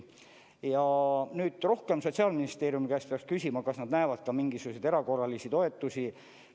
Ja rohkem Sotsiaalministeeriumi käest peaks küsima, kas nad näevad ette ka mingisuguseid erakorralisi toetusi.